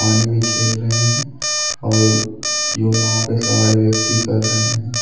पानी में खेल रहे हैं और जो नाव पे सवाड़ व्यक्ति कर रहे हैं।